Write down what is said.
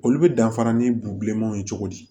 Olu bɛ danfara ni bulonmanw ye cogo di